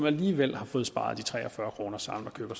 alligevel har fået sparet de tre og fyrre kroner sammen og køber